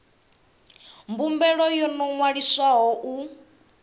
khumbelo yo no ṅwaliswaho u